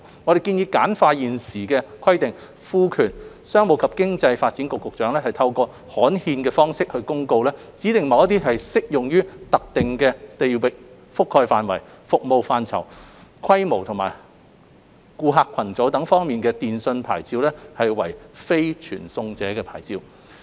我們建議簡化現行規定，賦權商務及經濟發展局局長透過刊憲方式作公告，指定某些適用於特定地域覆蓋範圍、服務範疇、規模或顧客群組等方面的電訊牌照為非傳送者牌照。